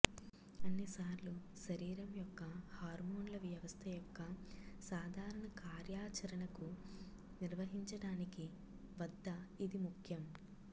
అన్ని సార్లు శరీరం యొక్క హార్మోన్ల వ్యవస్థ యొక్క సాధారణ కార్యాచరణకు నిర్వహించడానికి వద్ద ఇది ముఖ్యం